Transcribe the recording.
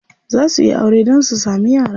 Za suyi aure dan su samu yara.